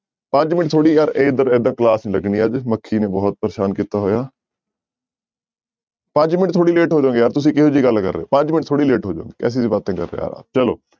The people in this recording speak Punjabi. ਪੰਜ ਮਿੰਟ ਥੋੜ੍ਹੀ ਯਾਰ ਏਦਾਂ ਏਦਾਂ class ਨੀ ਲੱਗਣੀ ਯਾਰ ਮੱਖੀ ਨੇ ਬਹੁਤ ਪਰੇਸਾਨ ਕੀਤਾ ਹੋਇਆ ਪੰਜ ਮਿੰਟ ਥੋੜ੍ਹੀ late ਹੋ ਜਾਓਗੇ ਯਾਰ ਤੁਸੀਂ ਕਿਹੋ ਜਿਹੀ ਗੱਲ ਕਰ ਰਹੇ ਹਹੋ, ਪੰਜ ਮਿੰਟ ਥੋੜ੍ਹੀ late ਹੋ ਜਾਓਗੇ ਕੈਸੀ ਬਾਤੇਂ ਕਰ ਰਹੇ ਆ ਚਲੋ,